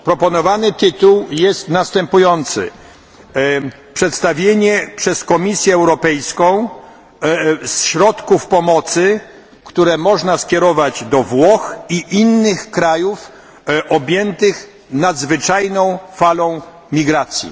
Proponowany tytuł jest następujący Przedstawienie przez Komisję Europejską środków pomocy, które można skierować do Włoch i innych krajów objętych nadzwyczajną falą migracji.